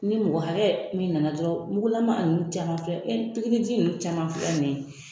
Ni mɔgɔ hakɛ mun nana dɔrɔn mugulaman nin caman filɛ ɛɛ pikiri ji nunnu caman filɛ nin ye